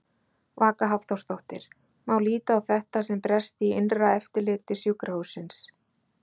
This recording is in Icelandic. Vaka Hafþórsdóttir: Má líta á þetta sem bresti í innra eftirliti sjúkrahússins?